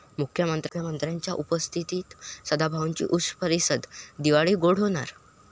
मुख्यमंत्र्यांच्या उपस्थितीत सदाभाऊंची ऊस परिषद, दिवाळी गोड होणार?